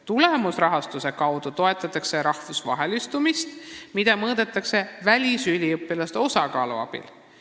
Tulemusrahastuse kaudu toetatakse rahvusvahelistumist, mida mõõdetakse välisüliõpilaste osakaalu abil.